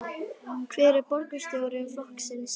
Hver er borgarstjóraefni flokksins?